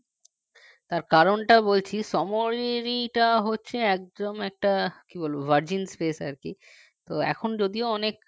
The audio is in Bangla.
তার কারণটা বলছি samorika টা হচ্ছে একদম একটা কি বলব virgin space আর কি তো এখন যদিও অনেক